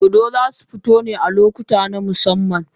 Dodo zai su fito ne a lokuta na musamman.